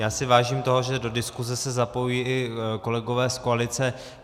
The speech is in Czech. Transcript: Já si vážím toho, že do diskuze se zapojují i kolegové z koalice.